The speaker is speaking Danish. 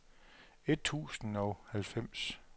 et tusind og otteoghalvfems